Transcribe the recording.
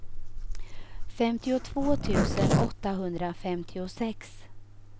femtiotvå tusen åttahundrafemtiosex